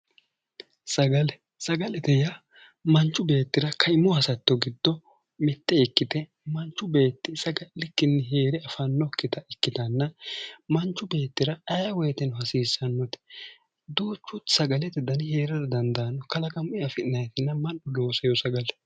Sagale, sagale yaa manchu beettira kaimu hasatto giddo mite ikkite, manchu beetti saga'likkinni heere afanokkitta ikkittanna ,manchu beettira ayee woyteno hasiisanote ,duuchu sagalete danni heerara dandaano, kalaqamunni afi'nannitinna mannu loosino sagale.